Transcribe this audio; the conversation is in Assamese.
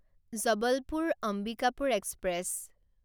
জবলপুৰ অম্বিকাপুৰ এক্সপ্ৰেছ